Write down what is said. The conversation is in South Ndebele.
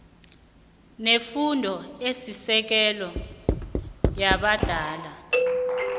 nefundo esisekelo yabadala